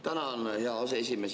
Tänan, hea aseesimees!